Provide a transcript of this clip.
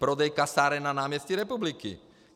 Prodej kasáren na náměstí Republiky.